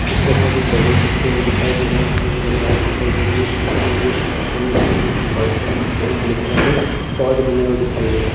इसके ऊपर कुछ बैलून चिपके हुए दिखाई दे रहे है ऊपर की जगह व्हाइट दिखाई दे रही है पहने हुए दिख रहे है नीचे फर्श लगी है जिसके अंदर ब्लैक कलर के बने हुए दिखाई दे रहे है।